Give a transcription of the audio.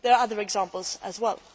There are other examples as well.